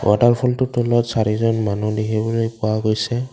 ৱাটাৰফলটোৰ তলত চাৰিজন মানুহ দেখিবলৈ পোৱা গৈছে।